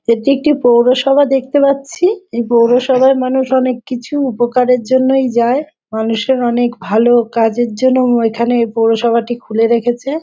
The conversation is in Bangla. এটি একটি পৌরসভা দেখতে পাচ্ছি | এই পৌরসভায় মানুষ অনেক কিছু উপকারের জন্যেই যায় | মানুষের অনেক ভালো কাজের জন্য উম এখানে পৌরসভাটি খুলে রেখেছে।